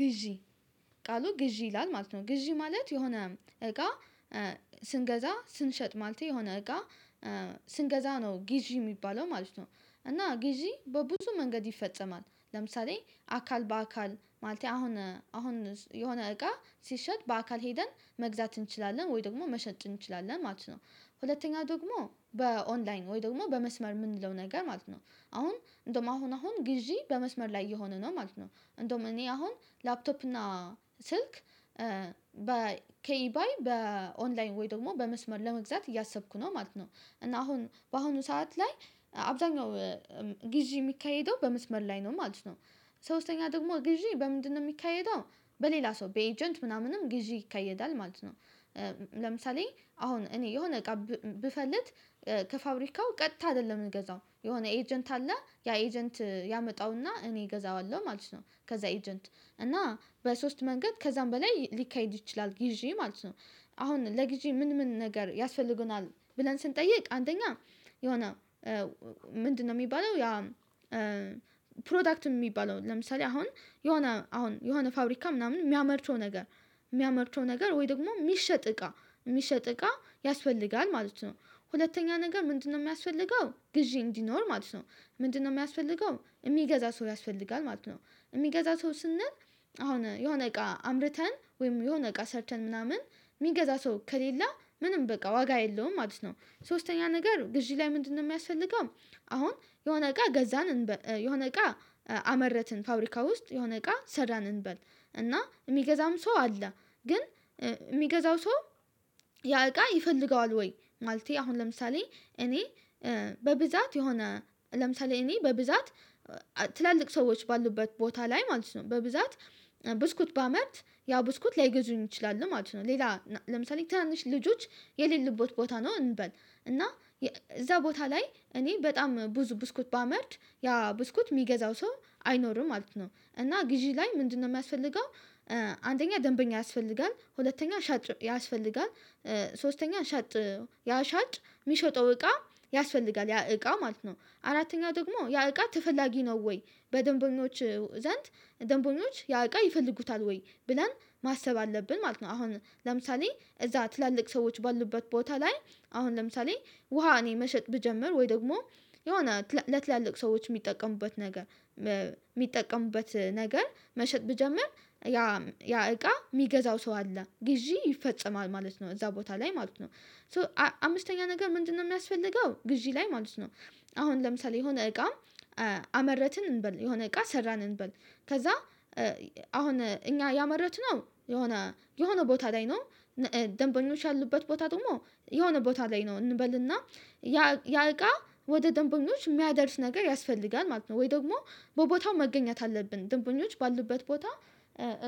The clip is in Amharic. ግዢ ቃሉ ግዢ ይላል ማለት ነው ግዢ ማለት የሆነ እቃ ስንገዛ ስንሸጥ ማለት የሆነ እቃ ስንገዛ ነው ጊዜ የሚባለው ማለት ነው። እና ጊዜ በብዙ መንገድ ይፈጸማል ለምሳሌ አካል በአካል ማለት አሁን አሁን የሆነ እቃ ሲሸጥ በአካል ሄደን መግዛት እንችላለን ወይ ደግሞ መሸጥ እንችላለን ማለት ነው። ሁለተኛ ደግሞ በኦንላይን ወይ ደግሞ በመስመር የምንለው ነገር ማለት ነው። አሁን እንደውም አሁን አሁን ግዢ በመስመር ላይ እየየሆነ ነው ማለት ነው እንደውም እኔ አሁን ላፕቶፕ እና ስልክ ከኢባይ በኦንላይን ወይ ደግሞ በመስመር ለመግዛት እያሰብኩ ነው ማለት ነው። እና አሁን በአሁኑ ሰዓት ላይ አብዛኛው ግዢ የሚካሄደው በመስመር ላይ ነው ማለት ነው። ሶስተኛ ደግሞ ግዢ በምንድነው የሚካሄደው በሌላ ሰው በኤጀንት ምናምንም ግዢ ይከየዳል ማለት ነው። ለምሳሌ አሁን እኔ የሆነ እቃ ብፈልግ ከፋብሪካው ቀጥታ አይደለም የምንገዛው የሆነ ኤጀንት አለ ያ ኤጀንት ያመጣውና እኔ እገዛዋለሁ ማለት ነው። ከዛ ኤጀንት እና በሶስት መንገድ ከዛም በላይ ሊካሄድ ይችላል ጊዜ ማለት ነው። አሁን ለጊዜ ምን ምን ነገር ያስፈልጉናል ብለን ስንጠይቅ አንደኛ የሆነ ምንድነው የሚባለው ያ ፕሮዳክት የሚባለው ለምሳሌ አሁን የሆነ አሁን የሆነ ፋብሪካ ምናምን የሚያመርተው ነገር የሚያመርተው ነገር ወይ ደግሞ የሚሸጥ እቃ የሚሸጥ እቃ ያስፈልጋል ማለት ነው። ሁለተኛ ነገር ምንድነው የሚያስፈልገው ግዢ እንዲኖር ማለት ነው ምንድነው የሚያስፈልገው የሚገዛ ሰው ያስፈልጋል። ማለት ነው የሚገዛ ሰው ስንል አሁን የሆነ እቃ አምርተን ወይም የሆነ እቃ ሰርተን ምናምን የሚገዛ ሰው ከሌለ ምንም በቃ ዋጋ የለውም ማለት ነው ሶስተኛ ነገር ግዢ ላይ ምንድነው የሚያስፈልገው አሁን የሆነ እቃ ገዛን የሆነ እቃ አመረትን ፋብሪካ ውስጥ የሆነ እቃ ሰዳን እንበል እና የሚገዛም ሰው አለ ግን የሚገዛው ሰው ያእቃ ይፈልገዋል ወይ ማለቴ አሁን ለምሳሌ እኔ በብዛት የሆነ ለምሳሌ እኔ በብዛት ትላልቅ ሰዎች ባሉበት ቦታ ላይ ማለት ነው በብዛት ብስኩት ባመርት ያ ብስኩት ላይገዙኝ ይችላሉ ማለት ነው። ሌላ ለምሳሌ ትንንሽ ልጆች የሌለበት ቦታ ነው እንበል እና እዛ ቦታ ላይ እኔ በጣም ብዙ ብስኩት ባመርት ያ ብስኩት የሚገዛው ሰው አይኖርም ማለት ነው እና ግዢ ላይ ምንድነው የሚያስፈልገው አንደኛ ደንበኛ ያስፈልጋል፤ ሁለተኛ ሻጭ ያስፈልጋል፤ ሶስተኛ ሻጥ ያሻጥ የሚሸጠው እቃ ያስፈልጋል። ያ እቃ ማለት ነው አራተኛ ደግሞ ያ እቃ ተፈላጊ ነው ወይ በደንበኞች ዘንድ ደንበኞች ያዕቃ ይፈልጉታል ወይ ብላን ማሰብ አለብን ማለት ነው። አሁን ለምሳሌ እዛ ትላልቅ ሰዎች ባሉበት ቦታ ላይ አሁን ለምሳሌ ውሃ እኔ መሸጥ ብጀምር ወይ ደግሞ የሆነ ለትላልቅ ሰዎች የሚጠቀሙበት ነገር የሚጠቀሙበት ነገር መሸጥ ብጀምር ያ ያ እቃ የሚገዛው ሰው አለ። ግዢ ይፈጸማል ማለት ነው እዛ ቦታ ላይ ማለት ነው። ሶ አምስተኛ ነገር ምንድነው የሚያስፈልገው ግዢ ላይ ማለት ነው አሁን ለምሳሌ የሆነ እቃ አመረትን እንበል የሆነ እቃ ሰራን እንበል ከዛ አሁን እኛ ያመረትነው የሆነ የሆነ ቦታ ላይ ነው ደንበኞች ያሉበት ቦታ ደግሞ የሆነ ቦታ ላይ ነው እንበልና ያ ወደ ደንበኞች የሚያደርስ ነገር ያስፈልጋል ማለት ነው። ወይ ደግሞ በቦታው መገኘት አለብን ድንበኞች ባሉበት ቦታ